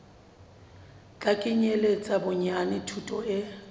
tla kenyeletsa bonyane thuto e